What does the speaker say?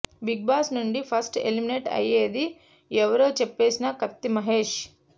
big boss నుండి first eliminate అయ్యేది ఎవరో చెప్పేసిన కత్తి మహేష్